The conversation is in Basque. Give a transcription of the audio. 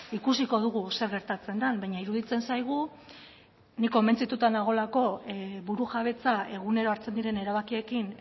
ikusiko dugu zer gertatzen den baina iruditzen zaigu ni konbentzituta nagoelako burujabetza egunero hartzen diren erabakiekin